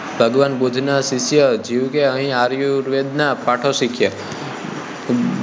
ભગવાન બુદ્ધ નાં શિષ્ય જીવકે અહીં આયુર્વેદ નાં પાઠો શીખ્યા હતા